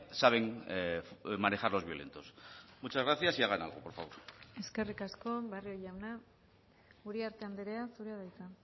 saben manejar los violentos muchas gracias y hagan algo por favor eskerrik asko barrio jauna uriarte andrea zurea da hitza